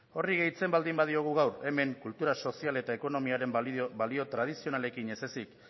horri gehitzen baldin badiogu gaur hemen kultura sozial eta ekonomiaren balio tradizionalekin ez ezik